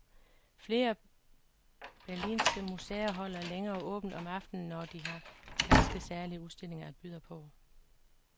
Flere berlinske museer holder længere åbent om aftenen, når de har ganske særlige udstillinger at byde på.